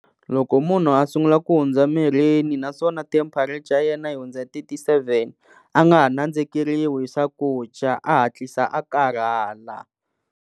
Loko munhu a sungula ku hundza naswona temperature ya yena yi hundza thirty-seven a nga nandzikeriwi hi swakudya a hatlisa a karhala.